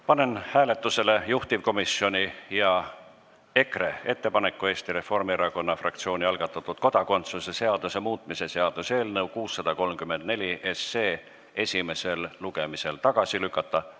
Panen hääletusele juhtivkomisjoni ja EKRE ettepaneku Eesti Reformierakonna fraktsiooni algatatud kodakondsuse seaduse muutmise seaduse eelnõu 634 esimesel lugemisel tagasi lükata.